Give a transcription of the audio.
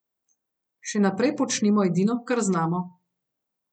Še naprej počnimo edino, kar znamo.